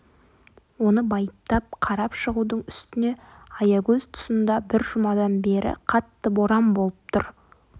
оны байыптап қарап шығудың үстіне аягөз тұсында бір жұмадан бері қатты боран болып тұр